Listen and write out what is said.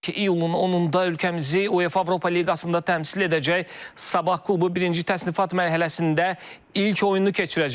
ki, iyulun 10-da ölkəmizi UEFA Avropa Liqasında təmsil edəcək Sabah klubu birinci təsnifat mərhələsində ilk oyununu keçirəcək.